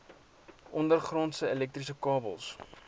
ondergrondse elektriese kabels